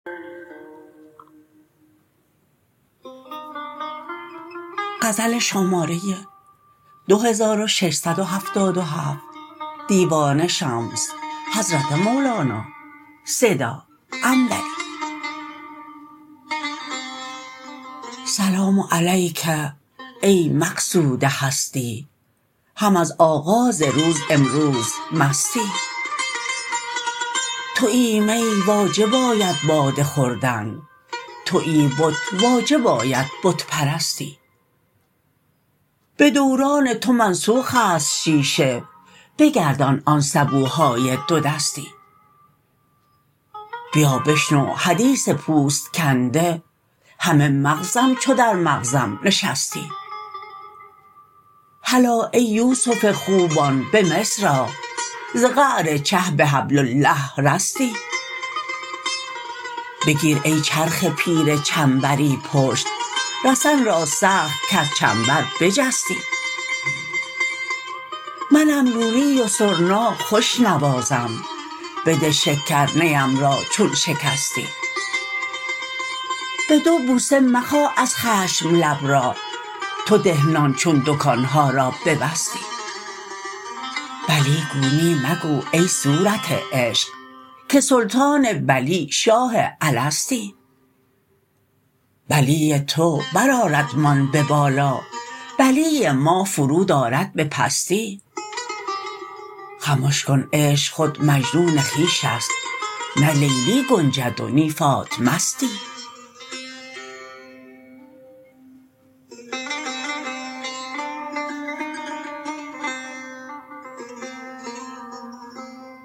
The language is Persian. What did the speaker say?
سلام علیک ای مقصود هستی هم از آغاز روز امروز مستی توی می واجب آید باده خوردن توی بت واجب آید بت پرستی به دوران تو منسوخ است شیشه بگردان آن سبوهای دودستی بیا بشنو حدیث پوست کنده همه مغزم چو در مغزم نشستی هلا ای یوسف خوبان به مصر آ ز قعر چه به حبل الله رستی بگیر ای چرخ پیر چنبری پشت رسن را سخت کز چنبر بجستی منم لولی و سرنا خوش نوازم بده شکر نیم را چون شکستی به دو بوسه مخا از خشم لب را تو ده نان چون دکان ها را ببستی بلی گو نی مگو ای صورت عشق که سلطان بلی شاه الستی بلی تو برآردمان به بالا بلی ما فرود آرد به پستی خمش کن عشق خود مجنون خویش است نه لیلی گنجد و نی فاطمستی